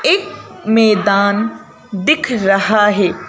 एक मैदान दिख रहा है।